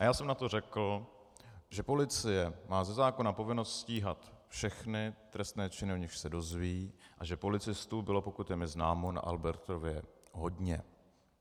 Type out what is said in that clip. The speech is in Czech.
A já jsem na to řekl, že policie má ze zákona povinnost stíhat všechny trestné činy, o nichž se dozví, a že policistů bylo, pokud je mi známo, na Albertově hodně.